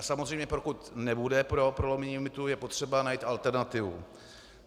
A samozřejmě pokud nebude pro prolomení limitu, je potřeba najít alternativu.